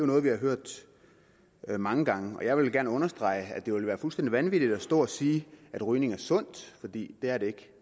noget vi har hørt mange gange jeg vil gerne understrege at det ville være fuldstændig vanvittigt at stå og sige at rygning er sundt for det er det